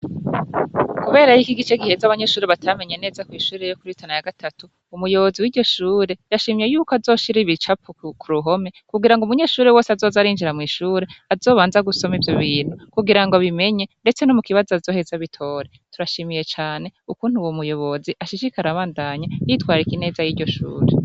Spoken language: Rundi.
Kubera yuko igice giheze abanyeshure batamenye meze kwishure yokuri tana ya gatatu umuyobozi wiryoshure yashimye yuko azoshira ibicapo kuruhome kugira ngo umunyeshure wese azozarinjira mwishure azobanze gusoma ivyobintu kugira ngo abimenye ndetse nomukibazo azoheze abitore turashimiye cane kukuntu uwomuyobozi ashishikara abandanya yitwararika ineza yiryoshure